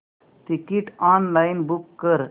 ticket online book कर